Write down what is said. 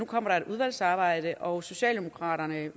kommer et udvalgsarbejde og socialdemokraterne